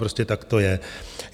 Prostě tak to je.